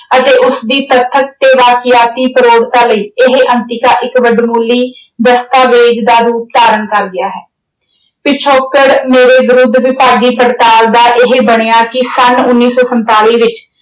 ਅਤੇ ਉਸਦੀ ਤੱਥਕ ਤੇ ਵਾਕਿਆਤੀ ਪ੍ਰੋੜਤਾ ਲਈ ਇਹ ਅੰਤਿਕਾ ਇੱਕ ਵੱਡਮੁੱਲੀ ਦਸਤਾਵੇਜ਼ ਦਾ ਰੂਪ ਧਾਰਨ ਕਰ ਗਿਆ ਹੈ। ਪਿਛੋਕੜ ਮੇਰੇ ਵਿਰੁੱਧ ਵਿਭਾਗੀ ਪੜਤਾਲ ਦਾ ਇਹ ਬਣਿਆ ਕਿ ਸੰਨ ਉਨੀ ਸੌ ਸੰਤਾਲੀ ਵਿੱਚ